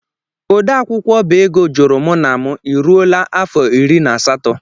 odeakwụkwọ ọbá égo jụrụ mụ na mụ: i ruola afọ irí na asatọ?